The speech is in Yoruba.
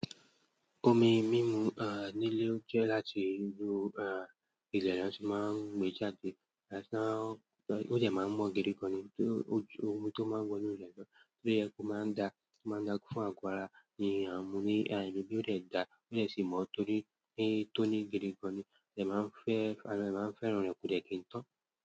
Omi mímu, nílé jẹ́ láti ró, ilẹ̀ lẹ́nu, ṣùgbọ́n máa ń gbé jáde, àṣá ó jẹ̀ máa ń mọ́ gidi gan ni, tó ojú omi tó máa ń wọ inú ilé gan, torí ẹkún máa ń dà, máa ń dà fún àgọ́ ara, nìyẹn a mú ní, gbogbo ọ̀rẹ́ dà, ọ̀rẹ́ sì mọ́ torí pé tóní gidi gan ni, ó dẹ̀ máa ń fẹ́, ẹlẹ́rọ̀ máa ń fẹ́ràn rẹ̀ kò dẹ̀ kí n tán.